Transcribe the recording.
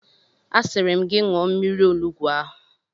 Asịrị m gị ṅụọ mmiri onugbu ahụ!